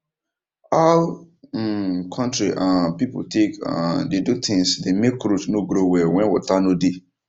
how um country um people take um dey do things dey make root no grow well when water no dey